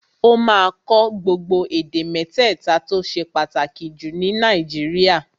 Ó máa kọ́ gbogbo èdè mẹ́tẹ̀ta tó ṣe pàtàkì jù ní Nàìjíríà